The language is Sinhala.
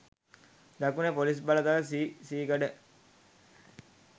දකුණේ පොලිස් බලතල සී සීකඩ